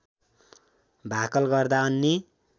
भाकल गर्दा अन्य